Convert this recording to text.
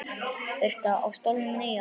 Birta: Á stólnum nýja?